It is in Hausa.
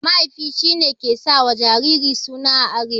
Mahaifi ne ke sa wa jariri suna a arewa.